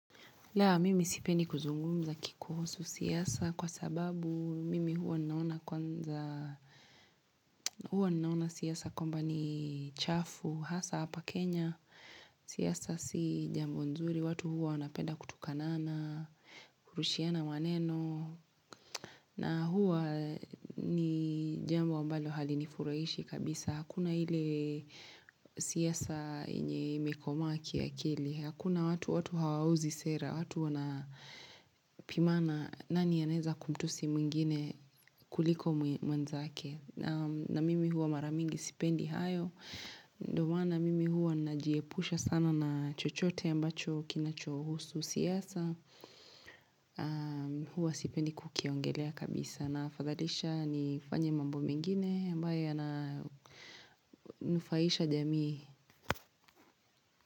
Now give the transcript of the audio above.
La, mimi sipendi kuzungumza kikuhusu siasa kwa sababu mimi huwa ninaona kwanza huwa ninaona siasa kwamba ni chafu, hasa hapa Kenya, siasa si jambo nzuri, watu huwa wanapenda kutukanana, kurushiana maneno, na huwa ni jambo ambalo halinifurahishi kabisa. Hakuna ile siasa yenye imekomaa kiakili. Hakuna watu watu hawauzi sera. Watu wanapimana nani anaweza kumtusi mwingine kuliko mwenzaake. Na mimi huwa mara mingi sipendi hayo. Ndo maana mimi huwa najiepusha sana na chochote ambacho kinachohusu siasa. Huwa sipendi kukiongelea kabisa. Nafadhalisha nifanye mambo mengine ambayo yananufaisha jamii.